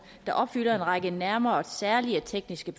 der opfylder en række nærmere særlige tekniske